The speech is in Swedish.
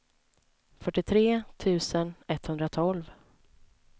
fyrtiotre tusen etthundratolv